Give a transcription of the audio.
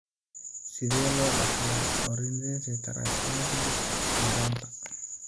Sidee loo dhaxlaa ornithine transcarbamylase (OTC) yaraanta?